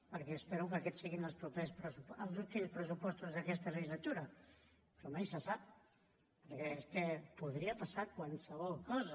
perquè espero que aquests siguin els últims pressupostos d’aquesta legislatura però mai se sap perquè és que podria passar qualsevol cosa